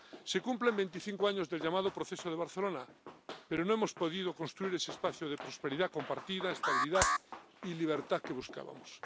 Se cumplen 25 años del llamado Proceso de Barcelona, pero no hemos podido construir ese espacio de prosperidad compartida, estabilidad y libertad que buscábamos.